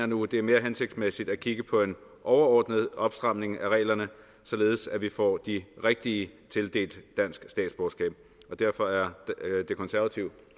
nu at det er mere hensigtsmæssigt at kigge på en overordnet opstramning af reglerne således at vi får de rigtige tildelt dansk statsborgerskab derfor er det konservative